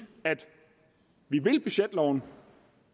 at vi vil budgetloven